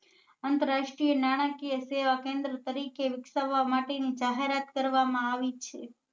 આંતરરાષ્ટ્રીય નાણાકીય સેવા કેન્દ્ર તરીકે વિકસાવવા માટે ની જાહેરાત કરવા માં આવી છે